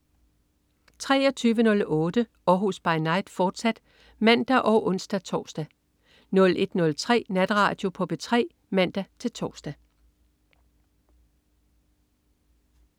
23.08 Århus By Night, fortsat (man og ons-tors) 01.03 Natradio på P3 (man-tors)